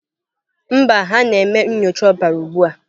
Mba, ha na-eme nyocha ọbara ugbu a.